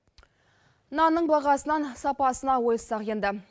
нанның бағасынан сапасына ойыссақ енді